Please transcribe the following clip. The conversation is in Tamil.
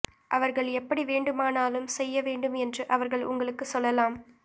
அவர்கள் எப்படி வேண்டுமானாலும் செய்ய வேண்டும் என்று அவர்கள் உங்களுக்கு சொல்லலாம்